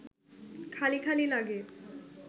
খালি খালি লাগে